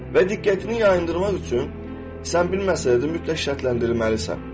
Və diqqətini yayındırmaq üçün sən bilməsən də mütləq şərtlənndirilməlisən.